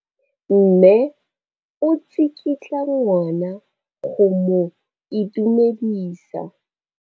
Mme o tsikitla ngwana go mo itumedisa.